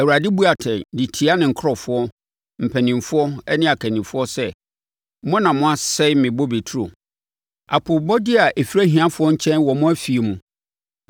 Awurade bu atɛn de tia ne nkurɔfoɔ mpanimfoɔ ne akannifoɔ sɛ, “Mo na moasɛe me bobe turo; apoobɔdeɛ a ɛfiri ahiafoɔ nkyɛn wɔ mo afie mu.